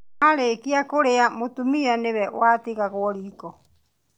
Marĩkia kũrĩa mũtumia nĩwe watigagwo riko